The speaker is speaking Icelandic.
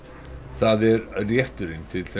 það er rétturinn til